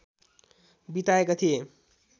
बिताएका थिए